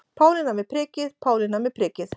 Pálína með prikið, Pálína með prikið.